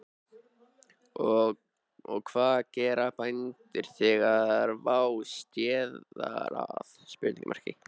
Og hvað gera bændur þegar vá steðjar að?